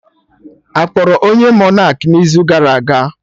Akpọrọ onye Monak n'izu gara aga